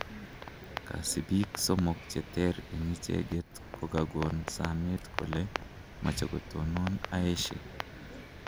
kasipiik somok cheter en icheget kogagon sameet kole mache ko tunon aeshee